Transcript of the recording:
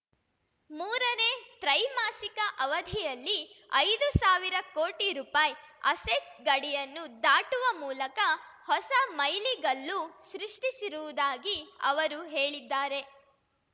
ಮೂರನೇ ತ್ರೈಮಾಸಿಕ ಅವಧಿಯಲ್ಲಿ ಐದು ಸಾವಿರ ಕೋಟಿ ರೂಪಾಯ್ ಅಸೆಟ್ ಗಡಿಯನ್ನು ದಾಟುವ ಮೂಲಕ ಹೊಸ ಮೈಲಿಗಲ್ಲು ಸೃಷ್ಠಿಸಿರುವುದಾಗಿ ಅವರು ಹೇಳಿದ್ದಾರೆ